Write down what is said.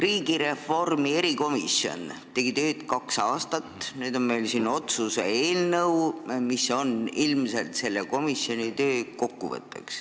Riigireformi erikomisjon tegi tööd kaks aastat, nüüd on meil siin otsuse eelnõu, mis on ilmselt selle komisjoni töö kokkuvõte.